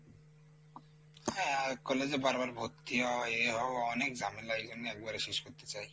হ্যাঁ আর college এ বারবার ভর্তি হওয়া এ হওয়া অনেক ঝামেলা ওই জন্যে একবারে শেষ করতে চাই।